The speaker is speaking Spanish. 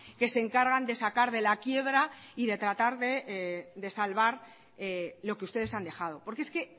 que se encargan de sacar de la quiebra y de tratar de salvar lo que ustedes han dejado porque es que